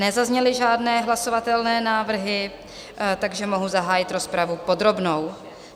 Nezazněly žádné hlasovatelné návrhy, takže mohu zahájit rozpravu podrobnou.